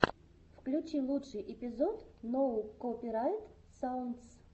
включи лучший эпизод ноу копирайт саундс